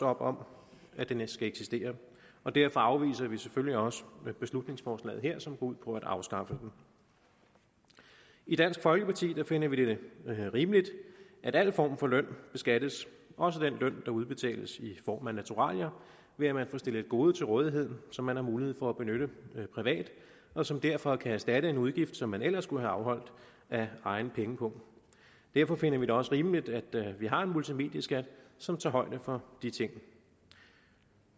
op om at den skal eksistere og derfor afviser vi selvfølgelig også beslutningsforslaget her som går ud på at afskaffe den i dansk folkeparti finder vi det rimeligt at al form for løn beskattes også den løn der udbetales i form af naturalier ved at man får stillet et gode til rådighed som man har mulighed for at benytte privat og som derfor kan erstatte en udgift som man ellers skulle have afholdt af egen pengepung derfor finder vi det også rimeligt at vi har en multimedieskat som tager højde for de ting